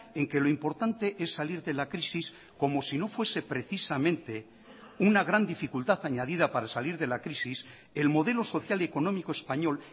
en que lo importante es salir de la crisis como si no fuese precisamente una gran dificultad añadida para salir de la crisis el modelo social y económico español